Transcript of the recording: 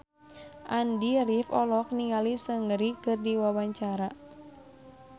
Andy rif olohok ningali Seungri keur diwawancara